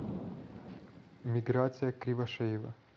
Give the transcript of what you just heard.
миграция кривошеева